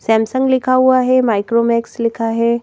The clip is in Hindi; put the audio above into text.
सैमसंग लिखा हुआ है माइक्रोमैक्स लिखा है।